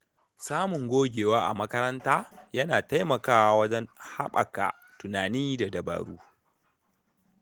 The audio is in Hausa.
Samun gogewa a makaranta yana taimakawa wajen haɓaka tunani da dabaru.